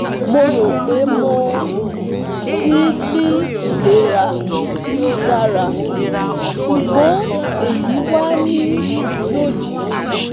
Mo ro pé mo ti n ni ilera ti o dara sugbon eyi wa ni lojiji